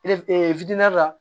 la